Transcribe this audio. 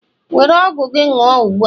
were ọgwụ gị ṅụṅ ugbu a!